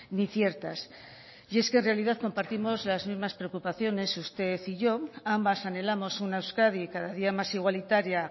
ni ciertas y es que en realidad compartimos las mismas preocupaciones usted y yo ambas anhelamos una euskadi cada día más igualitaria